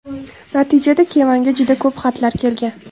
Natijada Kevanga juda ko‘p xatlar kelgan.